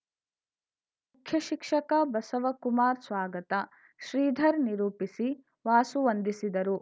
ಮುಖ್ಯ ಶಿಕ್ಷಕ ಬಸವಕುಮಾರ್‌ ಸ್ವಾಗತ ಶ್ರೀಧರ್‌ ನಿರೂಪಿಸಿ ವಾಸು ವಂದಿಸಿದರು